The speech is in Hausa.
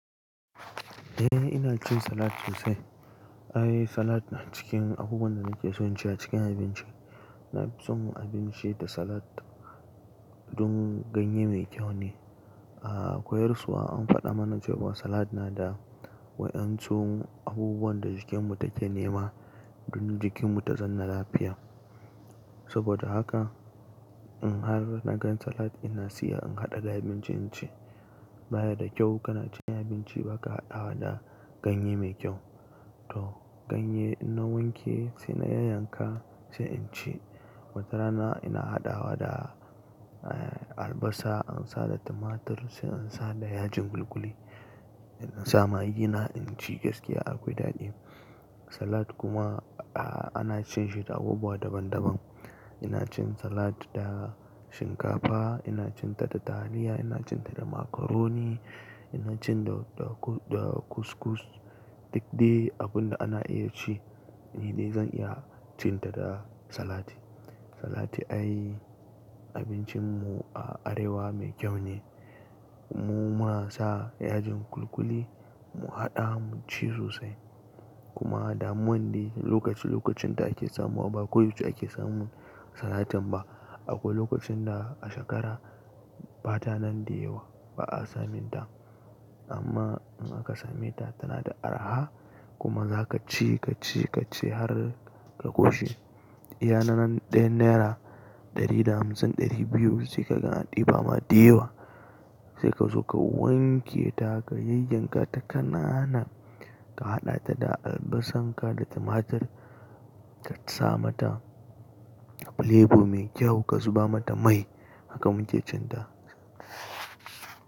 Eh ina cin salat sosai. Ai salat na cikin abubuwan da nake son ci a cikin abinci. Na fi son abinci da salat don ganye mai kyau ne. A koyarauwa an faɗa mana cewa salat na da wa'yan su abubuwan da jikinmu take nema don jikinmu ta zanna lafiya. Saboda haka in har na gan salat ina siyan in haɗa da abincin cin ci. Ba ya da kyau kana cin abinci baka haɗawa da ganye mai kyau. To ganye in na wanke sai na yanyanka sai in ci. Watarana ina haɗawa da, eh albasa an sa da tumatur sai in sa da yajin kulkuli. Ina sa magina inci gaskiya akwai daɗi. Salat kuma a ana cin shi da abubuwa daban daban. Ina cin salat da shinkafa, ina cin ta da taliya, ina cin ta da macaroni, ina cin da da da kuskus. Duk dai abunda ana iya ci ni dai zan iya cin ta da salati. Salati ai abincin mu a arewa mai kyau ne. Mu muna sa yajin kulkuli mu haɗa mu ci sosai. Kuma damuwan dai lokaci lokacin da ake samuwa ba koyaushe ake samun salatin ba. Akwai lokacin da a shekara bata nan da yawa ba'a samin ta. Amma in aka same ta tana da arha kuma zaka ci ka ci ka ci har ka ƙoshi. Iya na ran ɗayan naira ɗari da hamsin ɗari biyu sai ka ga an ɗiba ma da yawa. Sai ka so ka wanke ta ka yanyanka ta kanana ka haɗa ta da albasarka da tumatur ka sa mata filebo mai kyau ka zuba mata mai haka muke cin ta.